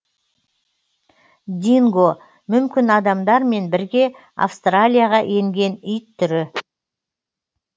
динго мүмкін адамдармен бірге австралияға енген ит түрі